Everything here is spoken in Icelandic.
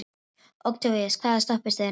Októvíus, hvaða stoppistöð er næst mér?